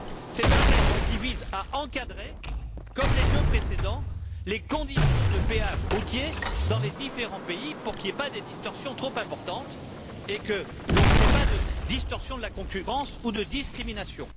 C'est un texte qui vise à encadrer, comme les deux précédents, les conditions de péage routier dans les différents pays pour qu'il n'y ait pas de distorsions trop importantes et que l'on ne crée pas de distorsions de la concurrence ou de discriminations.